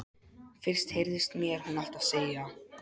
Fyrst heyrðist mér hún alltaf segja